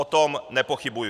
O tom nepochybuji.